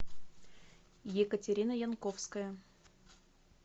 екатерина янковская